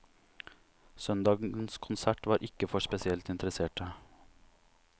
Søndagens konsert var ikke for spesielt interesserte.